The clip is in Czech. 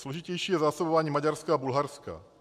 Složitější je zásobování Maďarska a Bulharska.